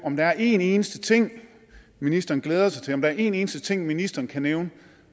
om der er en eneste ting ministeren glæder sig til om der er en eneste ting ministeren kan nævne